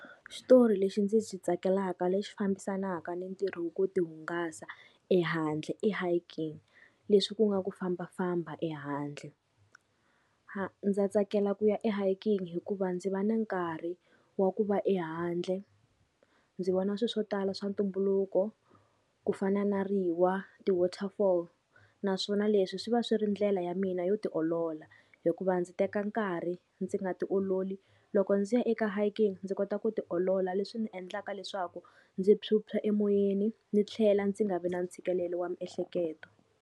Xitori lexi ndzi xi tsakelaka lexi fambisanaka ni ntirho wa ku tihungasa ehandle, i hiking leswi ku nga ku fambafamba ehandle. ndza tsakela ku ya e hiking hikuva ndzi va na nkarhi wa ku va ehandle, ndzi vona swi swo tala swa ntumbuluko ku fana na riwa ti-waterfall. Naswona leswi swi va swi ri ndlela ya mina yo tiolola, hikuva ndzi teka nkarhi ndzi nga tiololi loko ndzi ya eka hiking ndzi kota ku tiolola leswi ndzi endlaka leswaku ndzi phyuphya emoyeni ndzi tlhela ndzi nga vi na ntshikelelo wa miehleketo.